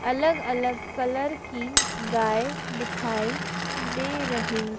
अलग अलग कलर की गाय दिखाई दे रही--